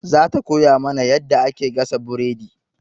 Za ta koya mana yadda ake gasa buredi.